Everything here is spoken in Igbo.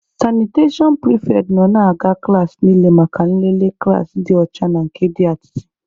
Sanitashọn pịrịfetị nọ na-aga klaasị niile maka nlele klaasị dị ọcha na nke dị atịtị.